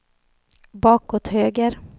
bakåt höger